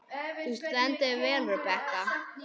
Þú stendur þig vel, Rebekka!